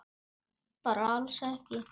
Bara alls ekki.